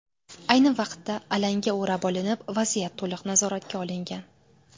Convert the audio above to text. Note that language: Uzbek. Ayni vaqtda alanga o‘rab olinib, vaziyat to‘liq nazoratga olingan.